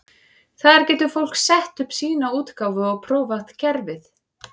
Þar getur fólk sett upp sína útgáfu og prófað kerfið.